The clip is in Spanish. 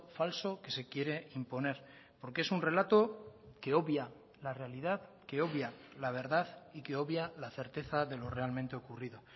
falso que se quiere imponer porque es un relato que obvia la realidad que obvia la verdad y que obvia la certeza de lo realmente ocurrido